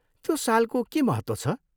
त्यो सालको के महत्त्व छ?